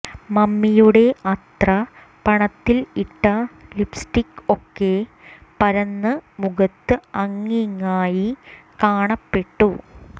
മമ്മിയുടെ അത്ര പണത്തിൽ ഇട്ട ലിപ്സ്റ്റിക് ഒക്കെ പരന്ന് മുഖത്തു അങ്ങിങ്ങായി കാണപ്പെട്ടു